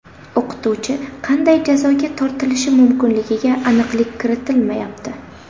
O‘qituvchi qanday jazoga tortilishi mumkinligiga aniqlik kiritilmayapti.